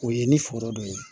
O ye ni foro dɔ ye